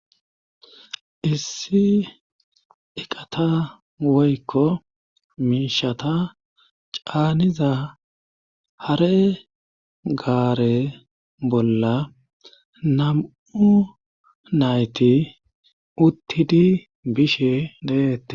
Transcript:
issi iqata woykko miishata caaniza hare gaare bolla nam7u nayti uttidi bishe deette